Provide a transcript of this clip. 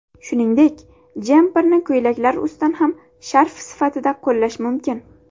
Shuningdek, jemperni ko‘ylaklar ustidan ham sharf sifatida qo‘llash mumkin.